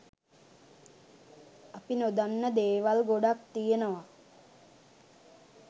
අපි නොදන්න දේවල් ගොඩක් තියනවා.